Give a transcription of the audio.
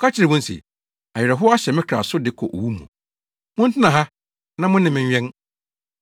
Ɔka kyerɛɛ wɔn se, “Awerɛhow ahyɛ me kra so de kɔ owu mu. Montena ha na mo ne me nwɛn.”